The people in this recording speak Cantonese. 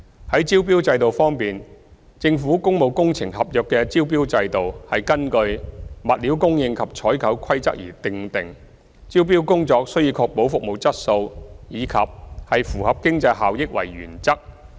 在招標制度方面，政府工務工程合約的招標制度是根據《物料供應及採購規例》而訂定，招標工作須以確保服務質素及符合經濟效益為原則。